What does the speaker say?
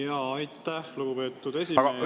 Jaa, aitäh, lugupeetud esimees!